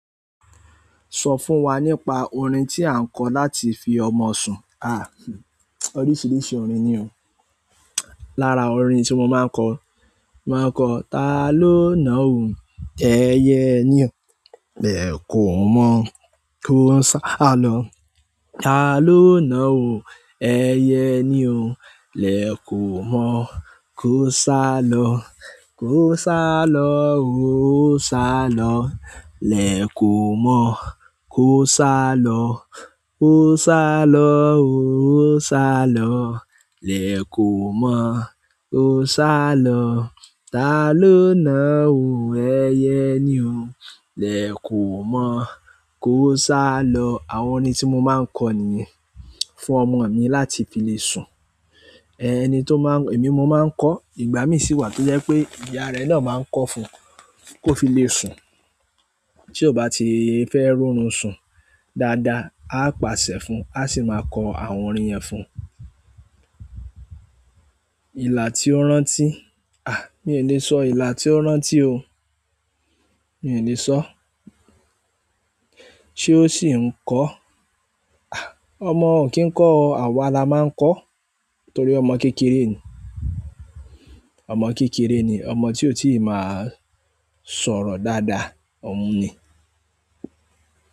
Sọ fún wá nípa orin ti a ń kọ láti fí ọmọ sùn. Ah, oríṣiríṣi orin ni o. Lára orin tí mo máa ń kọ, máa ń kọ: Ta ló ná ò? Ẹyẹ ni o. Lẹ kò mọ, kò o sá lọ. Ta ló ná òun? Ẹyẹ ni o. Lẹ kò mọ, kò o sá lọ. Kò o sá lọ o, ò o sá lọ. Lẹ kò mọ, kò o sá lọ. Kò o sá lọ o, kò o sá lọ. Lẹ kò mọ, kò o sá lọ. Ta ló ná òun? Ẹyẹ ni o. Lẹ kò mọ, kò o sá lọ. Àwọn orin tí mo máa ń kọ nìyẹn fún ọmọ mi láti fi le sun. Ẹni tó máa ń-- èmi mo máa ń kọ, ìgbà mí sì wà tó jẹ́ pé ìyá rẹ náà máa ń kọ fún un kó fi le sun. Tí ó bá ti fẹ́ rorún sun dáadáa, a pàṣẹ fún un, a sì máa kọ àwọn orin yẹn fún un. Ìlà tí ó rántí? Mí lé sọ ìlà tí o rántí o. Mi ò le sọ. Sé ó ṣì ń kọ́? Àh, ọmọ ò kí ń kọ o, àwa la máa ń kọ torí ọmọ kékeré ni. Ọmọ kékeré ni, ọmọ tí ó tíì máa sọ̀rọ̀ dáadáa, òun ni.